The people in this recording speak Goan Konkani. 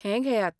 हें घेयात!